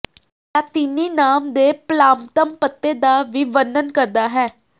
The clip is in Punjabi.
ਲਾਤੀਨੀ ਨਾਮ ਦੇ ਪਲਾਮਤਮ ਪੱਤੇ ਦਾ ਵੀ ਵਰਣਨ ਕਰਦਾ ਹੈ